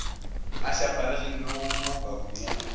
a šaparegilego mo kabong ya